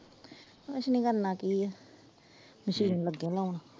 ਕੁੱਛ ਨਹੀਂ ਕਰਨਾ ਕੀ ਆ, ਮਸ਼ੀਨ ਲੱਗੇ ਲਾਉਣ।